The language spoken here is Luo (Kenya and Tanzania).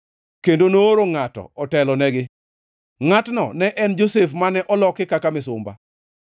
kendo nooro ngʼato otelonegi, ngʼatno ne en Josef mane oloki kaka misumba.